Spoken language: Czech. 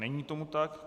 Není tomu tak.